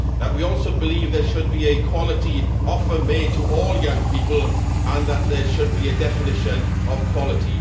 We also believe there should be a quality offer made to all young people and that there should be a definition of quality